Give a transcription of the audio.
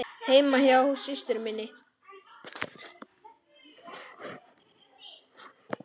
Heima hjá systur minni?